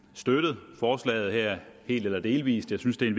støttet forslaget her helt eller delvis jeg synes det er